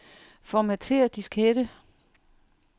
Formatér diskette.